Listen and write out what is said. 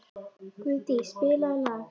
Guðdís, spilaðu lag.